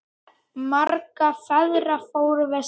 Margar ferðir fórum við saman.